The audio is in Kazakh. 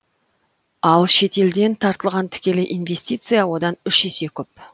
ал шетелден тартылған тікелей инвестиция одан үш есе көп